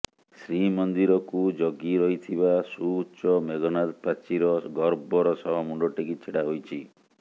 ଶ୍ରୀମନ୍ଦିରକୁ ଜଗି ରହିଥିବା ସୁଉଚ୍ଚ ମେଘନାଦ ପ୍ରାଚୀର ଗର୍ବର ସହ ମୁଣ୍ଡ ଟେକି ଛିଡା ହୋଇଛି